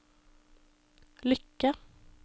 lykke